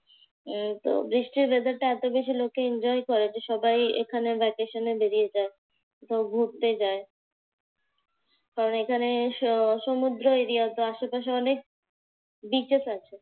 আহ তো বৃষ্টির weather টা এতবেশি লোকে enjoy করে যে সবাই এখানে vacation এ বেরিয়ে যায়। কোথাও ঘুরতে যায়। কারণ এখানে স সমুদ্র area তো আশেপাশে অনেক beaches আছে।